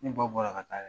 Ne ba bɔra ka taa